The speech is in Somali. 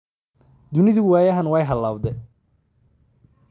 Dunidu waayahan weey halawde